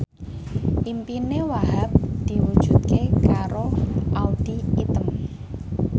impine Wahhab diwujudke karo Audy Item